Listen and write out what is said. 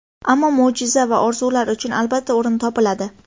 Ammo mo‘jiza va orzular uchun, albatta, o‘rin topiladi.